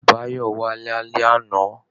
Báyọ̀ wà lálẹ́ àná